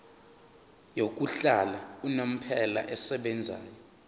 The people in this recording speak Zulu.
yokuhlala unomphela esebenzayo